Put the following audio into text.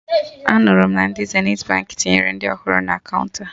Anụrụ m na ndị Zenithi Baankị tinyere ndị ọhụrụ na kaụnta